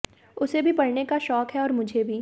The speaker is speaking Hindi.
उसे भी पढऩे का शौक है और मुझे भी